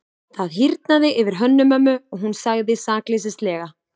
Það hýrnaði yfir Hönnu-Mömmu og hún sagði sakleysislega:-